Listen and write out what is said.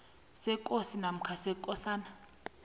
sekosi namkha sekosana